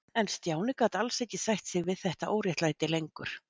En Stjáni gat alls ekki sætt sig við þetta óréttlæti lengur.